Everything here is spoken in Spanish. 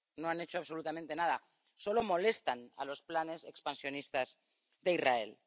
No han hecho absolutamente nada, solo molestan a los planes expansionistas de Israel.